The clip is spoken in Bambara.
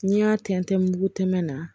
N'i y'a tɛntɛn mugu tɛmɛ na